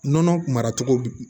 Nɔnɔ mara cogo